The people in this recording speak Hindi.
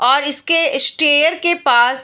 और इसके स्टेयर के पास --